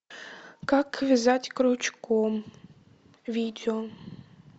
как вязать крючком видео